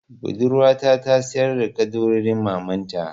Budurwata ta sayar da ƙaddarorin mamanta.